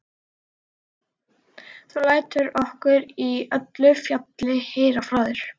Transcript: Þú lætur okkur í öllu falli heyra frá þér.